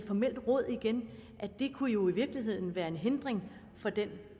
formelt råd igen det kunne jo i virkeligheden være en hindring for det